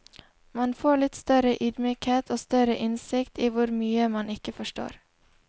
Man får litt større ydmykhet og større innsikt i hvor mye man ikke forstår.